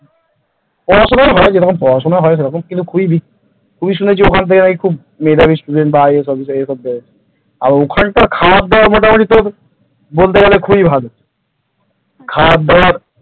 পড়াশুনা হয় যেরকম পড়াশোনা হয় খুবই শুনেছি ওখান থেকে খুব মেধাবী student রা IAS officer পাওয়া যায় আর ওখানকার খাবার দাবার মোটামুটি বলতে গেলে তোর খুবই ভালো খাবার দাবার ।